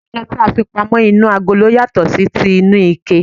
Ìtójú oúnje ti a fi pamó inú agolo yàtò sí ti inú ike